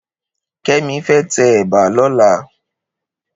Kemi fè tè èbà lòlá